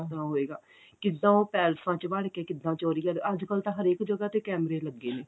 ਕਿੱਦਾਂ ਹੋਏਗਾ ਕਿੱਦਾਂ ਉਹ ਪੇਲਸਾਂ ਚ ਵਡ ਕੇ ਕਿੱਦਾਂ ਚੋਰੀ ਅੱਜਕਲ ਤਾਂ ਹਰੇਕ ਜਗ੍ਹਾ ਤੇ camera ਲੱਗੇ ਨੇ